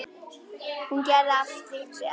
Hún gerði allt slíkt vel.